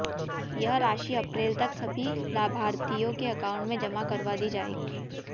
यह राशि अप्रैल तक सभी लाभार्थियों के अकाउंट में जमा करवा दी जाएगी